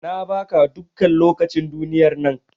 Na ba ka dukkan lokacin duniyar nan.